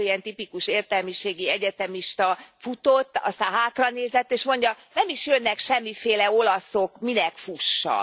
az illető, ilyen tipikus értelmiségi egyetemista futott, aztán hátranézett és mondja Nem is jönnek semmiféle olaszok, minek fussak?